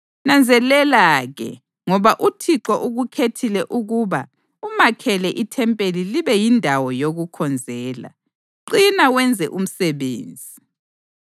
Nanzelela-ke ngoba uThixo ukukhethile ukuba umakhele ithempeli libe yindawo yokukhonzela. Qina wenze umsebenzi.”